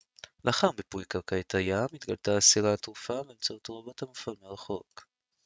לאחר מיפוי קרקעית הים התגלתה הספינה הטרופה באמצעות רובוט מופעל מרחוק